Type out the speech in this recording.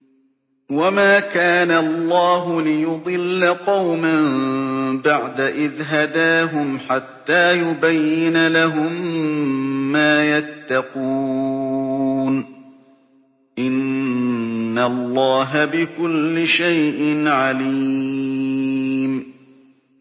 وَمَا كَانَ اللَّهُ لِيُضِلَّ قَوْمًا بَعْدَ إِذْ هَدَاهُمْ حَتَّىٰ يُبَيِّنَ لَهُم مَّا يَتَّقُونَ ۚ إِنَّ اللَّهَ بِكُلِّ شَيْءٍ عَلِيمٌ